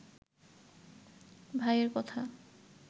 ভাই এর কথা